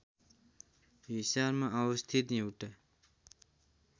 हिसारमा अवस्थित एउटा